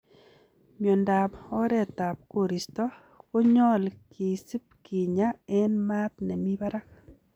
Miondab oretab koristo konyol kisib kinya en maat nemi barak.